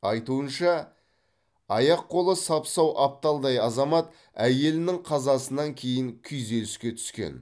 айтуынша аяқ қолы сап сау апталдай азамат әйелінің қазасынан кейін күйзеліске түскен